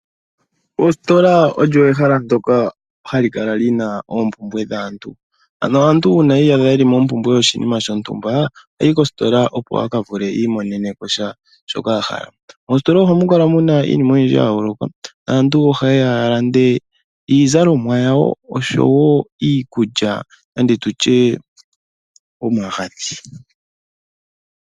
Ositola olyo ehala ndyoka hali kala lina oompumbwe dhaantu, ano aantu uuna yi iyadha yeli mompumbwe yoshinima shontumba ohayi kositola opo akavule i imonene ko sha shoka a hala. Moositola ohamu kala muna iinima oyindji yayooloka naantu ohaye yalande iizalomwa yawo, oshowo iikulya nenge tutye omagadhi.